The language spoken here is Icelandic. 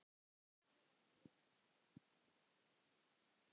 Þú átt að vekja mig.